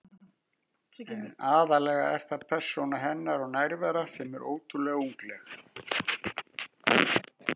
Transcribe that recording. En aðallega er það persóna hennar og nærvera sem er ótrúlega ungleg.